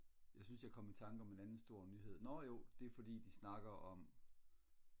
jeg synes jeg kom i tanke om en anden stor nyhed nå jo det er fordi de snakker om